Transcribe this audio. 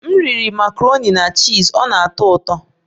M riri makaroni na chiz, ọ na-atọ ụtọ